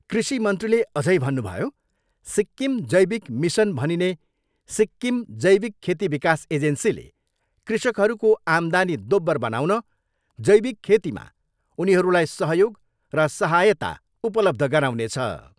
कृषि मन्त्रीले अझै भन्नुभयो, सिक्किम जैविक मिसन भनिने सिक्किम जैविक खेती विकास एजेन्सीले कृषकहरूको आमदानी दोब्बर बनाउन जैविक खेतीमा उनीहरूलाई सहयोग र सहायता उपलब्ध गराउनेछ।